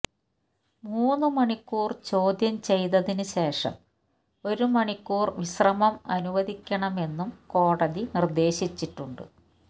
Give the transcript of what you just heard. മൂന്ന് മണിക്കൂർ ചോദ്യം ചെയ്തതിന് ശേഷം ഒരു മണിക്കൂർ വിശ്രമം അനുവദിക്കണമെന്നും കോടതി നിർദ്ദേശിച്ചിട്ടുണ്ട്